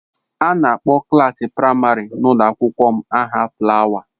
A na-akpọ klaasị praịmarị n'ụlọ akwụkwọ m n'aha fulawa.